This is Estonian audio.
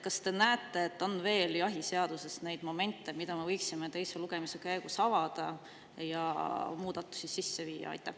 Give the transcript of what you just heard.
Kas te näete, et jahiseaduses on veel neid momente, mida me võiksime teise lugemise käigus avada, et muudatusi sisse viia?